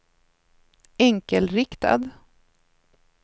enkelriktad